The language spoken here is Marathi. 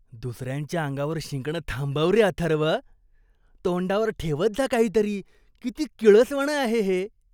दुसऱ्यांच्या अंगावर शिंकणं थांबव रे अथर्व. तोंडावर ठेवत जा काहीतरी. किती किळसवाणं आहे हे.